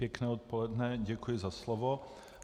Pěkné odpoledne, děkuji za slovo.